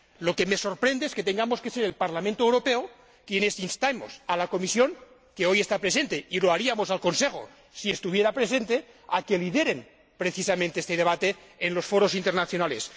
Lo que me sorprende es que tenga que ser el Parlamento Europeo quien inste a la Comisión, que hoy está presente —y lo haría también con el Consejo, si estuviera presente—, a que lidere este debate en los foros internacionales.